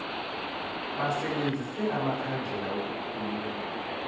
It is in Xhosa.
basebenzise amakhandlela ukukhulula